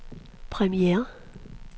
premiere